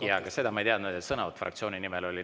Jaa, aga seda ma ei teadnud, et sõnavõtt fraktsiooni nimel oli.